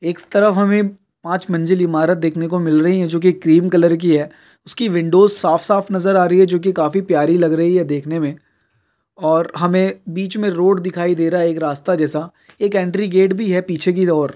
एक तरफ हमें पांच मंजिल ईमारत देखने को मिल रही हैं जो के क्रीम कलर की हैं। उसकी विंडोज साफ़ साफ़ नजर आ रही हैं जोकि काफी प्यारी लग रही हैं देखने मैं। और हमें बिच मैं रोड दिखाई दे रहा हैं। एक रास्ता जैसा। एक एंट्री गेट हैं पीछे की और।